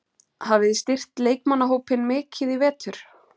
Hafið þið styrkt leikmannahópinn mikið í vetur?